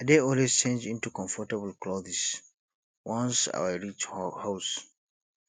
i dey always change into comfortable clothes wans i reach house